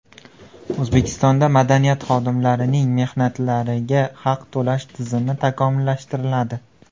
O‘zbekistonda madaniyat xodimlarining mehnatlariga haq to‘lash tizimi takomillashtiriladi.